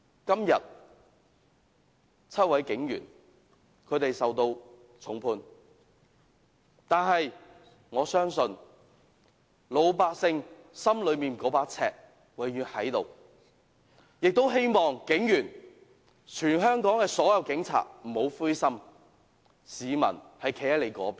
今天 ，7 名警員受到重判，但我相信老百姓心內那把尺永遠存在，希望全港所有警察不要灰心，市民是站在他們的一方的。